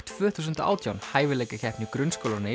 tvö þúsund og átján hæfileikakeppni grunnskólanna í